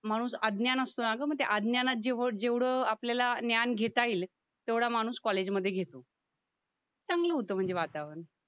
माणूस अज्ञान असतं अगं मग ते अज्ञानात जेव जेवढं आपल्याला ज्ञान घेता येईल तेवढा माणूस कॉलेजमध्ये घेतो चांगलं होतं म्हणजे वातावरण